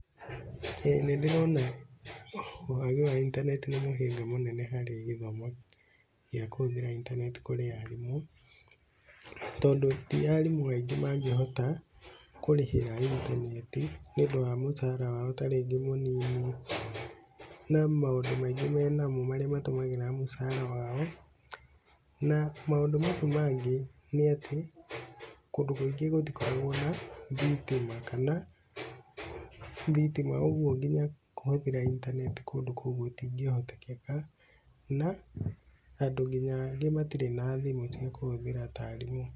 ĩĩ nĩ ndĩrona wagi wa intaneti nĩ mũhĩnga mũnene harĩ gĩthomo gĩa kũhũthĩra intaneti kũrĩ arimũ, tondũ ti arimũ aingĩ mangĩhota kũrĩhira intaneti ni ũndũ wa mũcara wao tarĩngi ni mũnini, na maũndũ maingĩ menamo marĩa matũmagĩra mũcara wao. Na maũndũ macio mangĩ nĩ atĩ kũndũ kũingĩ gũtikoragwo na thitima, kana thitima, ũguo ona nginya kũhũthĩra intaneti kũndũ kũu gũtingĩhoteteka. Na andũ nginya angĩ matirĩ na thimũ cia kũhũthĩra ta arimũ.